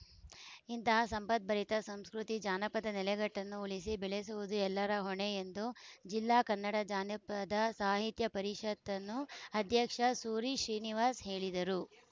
ಇಂತಹ ಸಂಪದ್ಭರಿತ ಸಂಸ್ಕೃತಿ ಜಾನಪದ ನೆಲೆಗಟ್ಟನ್ನು ಉಳಿಸಿ ಬೆಳೆಸುವುದು ಎಲ್ಲರ ಹೊಣೆ ಎಂದು ಜಿಲ್ಲಾ ಕನ್ನಡ ಜಾನಪದ ಸಾಹಿತ್ಯ ಪರಿಷತ್ತು ಅಧ್ಯಕ್ಷ ಸೂರಿ ಶ್ರೀನಿವಾಸ್‌ ಹೇಳಿದರು